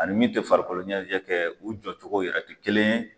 Ani min ti farikoloɲɛnajɛ kɛ u jɔcogo yɛrɛ a ti kelen ye